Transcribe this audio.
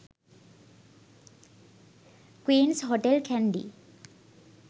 queens hotel kandy